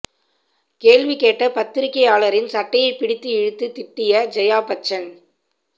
கேள்வி கேட்ட பத்திரிக்கையாளரின் சட்டையை பிடித்து இழுத்து திட்டிய ஜெயா பச்சன்